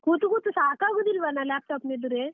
ಕೂತು ಕೂತು ಸಾಕಾಗುದಿಲ್ವನಾ, laptop ನ ಎದುರೇ?